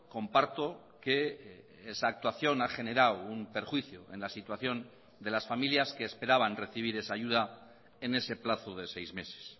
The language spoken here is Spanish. comparto que esa actuación ha generado un perjuicio en la situación de las familias que esperaban recibir esa ayuda en ese plazo de seis meses